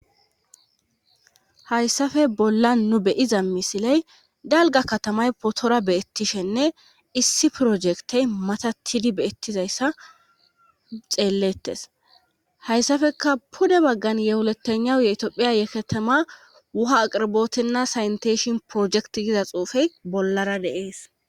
hayssafe bolla nu beyiza misiley galga katamay potora beettishenne issi projektey matatidi beettizayssa xeellettes hayssafeka pude baggan yewuletena yetiophiya yeketama wuha aqirbootinna saynteshin projekti gida xuufey bollara deees